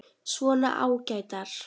Svona ágætar.